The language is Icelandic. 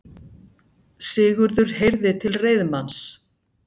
Sigurður heyrði til reiðmanns.